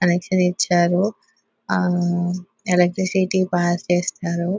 Connection ఇచ్చారు ఆఅ electricity pass చేస్తారు .